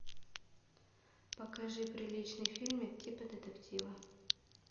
покажи приличный фильмик типа детектива